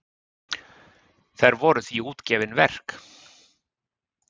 Þær voru því útgefin verk.